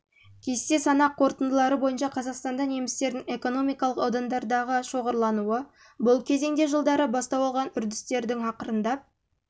кесте санақ қорытындылары бойынша қазақстанда немістердің экономикалық аудандардағы шоғырлануы бұл кезеңде жылдары бастау алған үрдістердің ақырындап